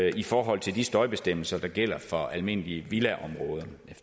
i forhold til de støjbestemmelser der gælder for almindelige villaområder